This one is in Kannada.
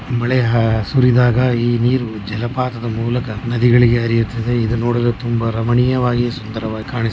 ಮಳೆ ಸುರಿದಾಗ ಈ ನೀರು ಜಲಪಾತದ ಮೂಲಕ ನದಿಗಳಿಗೇ ಹರಿಯುತ್ತದೆ ಇದನ್ನು ನೋಡಲು ತುಂಬ ರಮಣೀಯವಾಗಿ ಸುಂದರವಾಗಿ ಕಾಣ --